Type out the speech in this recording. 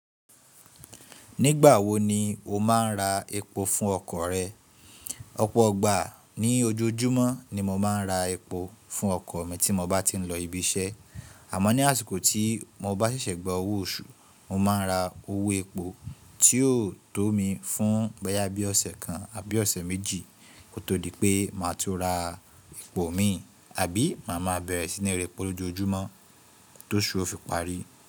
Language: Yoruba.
Nígbà wo ni o máa ń ra epo fún ọkọ̀ rẹ? Ọ̀pọ̀ọgbà ní ojoojúmọ́ ni mo máa ń ra epo fún ọkọ̀ mi tí mo bá ti ń lọ ibi iṣẹ́. Àmọ́ ní àsìkò tí mo bá ṣẹ̀ṣẹ̀ gba owó oṣù, mo máa ń ra owó epo tí yóò tó mi fún boyà bí ọ̀sẹ̀ kan àbí ọ̀sẹ̀ méjì kó tó di pé màá tun ra epo mi, àbí màá máa bẹ̀rẹ̀ sí ní ra epo lójoojúmọ́ tóṣú ofi parí.